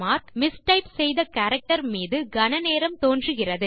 mistype செய்த character மீது கண நேரம் தோன்றுகிறது